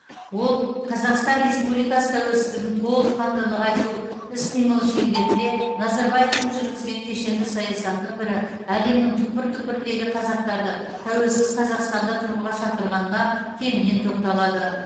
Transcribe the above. ол қазақстан республикасы тәуелсіздігін толыққанды нығайту іс қимыл шеңберінде назарбаевтың жүргізген кешенді саясатының бірі әлемнің түкпір түкпіріндегі қазақтарды тәуелсіз қазақстанда тұруға шақырғанына кеңінен тоқталады